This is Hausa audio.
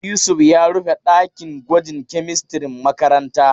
Yusuf ya rufe ɗakin gwajin kemistirin makarantan.